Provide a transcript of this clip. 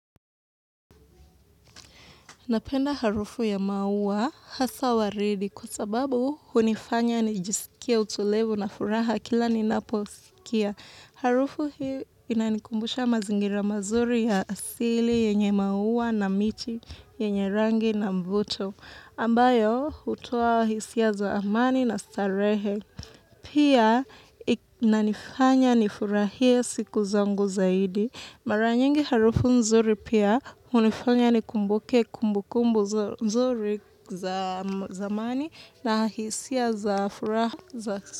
Napenda harufu ya maua hasa waridi kwa sababu hunifanya nijisikie utulivu na furaha kila ninapousikia. Harufu hiyo inanikumbusha mazingira mazuri ya asili yenye maua na miti yenye rangi na mvuto. Ambayo hutoa hisia za amani na starehe. Pia inanifanya nifurahie siku zangu zaidi. Mara nyingi harufu nzuri pia hunifanya nikumbuke kumbukumbu nzuri za zamani na hisia za furaha za su.